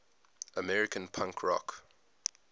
american punk rock